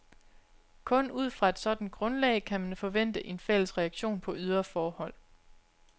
Kun ud fra et sådant grundlag kan man forvente en fælles reaktion på ydre forhold.